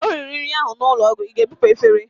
O riri nri ahụ n'ụlọ ọgwụ, Ị ga-ebupu efere!